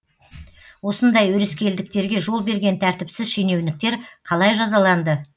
осындай өрескелдіктерге жол берген тәртіпсіз шенеуніктер қалай жазаланды